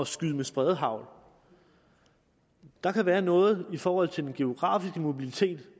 skyde med spredehagl der kan være noget i forhold til den geografiske mobilitet